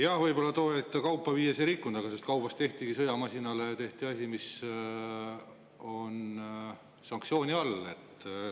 Jah, võib-olla tol hetkel, kaupa viies ei rikutud, aga sellest kaubast tehtigi sõjamasinale asi, mis on sanktsiooni all.